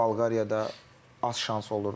Bolqariyada az şans olurdu.